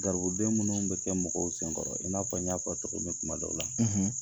Garibuden minnu bɛ kɛ mɔgɔw senkɔrɔ i n'a fɔ n y'a fɔ i ye tɔgɔ min kuma dɔ la